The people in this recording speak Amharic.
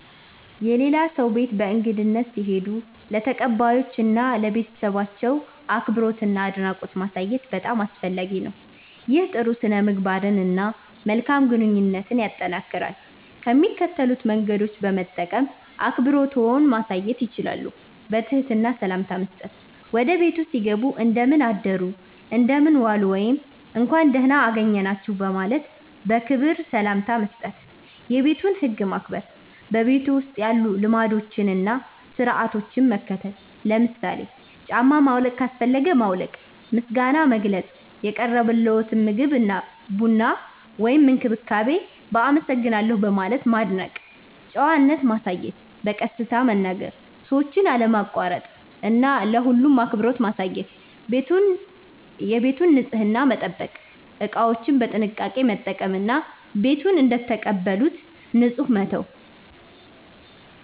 የሌላ ሰው ቤት በእንግድነት ሲሄዱ ለተቀባዮቹ እና ለቤተሰባቸው አክብሮትና አድናቆት ማሳየት በጣም አስፈላጊ ነው። ይህ ጥሩ ሥነ-ምግባርን እና መልካም ግንኙነትን ያጠናክራል። ከሚከተሉት መንገዶች በመጠቀም አክብሮትዎን ማሳየት ይችላሉ፦ በትህትና ሰላምታ መስጠት – ወደ ቤቱ ሲገቡ “እንደምን አደሩ/ዋሉ” ወይም “እንኳን ደህና አገኘናችሁ” በማለት በክብር ሰላምታ መስጠት። የቤቱን ህግ ማክበር – በቤቱ ውስጥ ያሉ ልማዶችን እና ሥርዓቶችን መከተል። ለምሳሌ ጫማ ማውለቅ ካስፈለገ ማውለቅ። ምስጋና መግለጽ – የቀረበልዎትን ምግብ፣ ቡና ወይም እንክብካቤ በ“አመሰግናለሁ” በማለት ማድነቅ። ጨዋነት ማሳየት – በቀስታ መናገር፣ ሰዎችን አለማቋረጥ እና ለሁሉም አክብሮት ማሳየት። ቤቱን ንጹህ መጠበቅ – እቃዎችን በጥንቃቄ መጠቀም እና ቤቱን እንደተቀበሉት ንጹህ መተው።